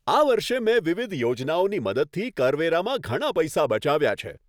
આ વર્ષે મેં વિવિધ યોજનાઓની મદદથી કરવેરામાં ઘણા પૈસા બચાવ્યા છે.